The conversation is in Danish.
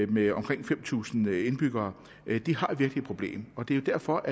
med omkring fem tusind indbyggere har virkelig et problem og det er jo derfor